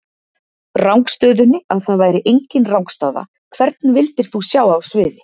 Rangstöðunni, að það væri enginn rangstaða Hvern vildir þú sjá á sviði?